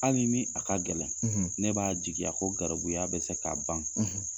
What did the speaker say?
Ali ni a ka gɛlɛn ne b'a jigiya ko garibuya bɛ se k'a ban